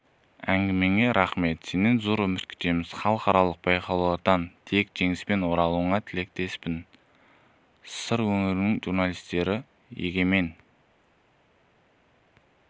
әңгімеңе рақмет сенен зор үміт күтеміз халықаралық байқаудан тек жеңіспен оралуыңа тілектеспін сыр өңірінің журналистері егемен